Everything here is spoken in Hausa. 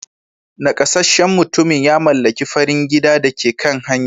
Nakasasshen mutumin ya mallaki farin gidan da ke kan hanya.